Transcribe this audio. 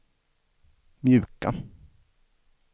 mjuka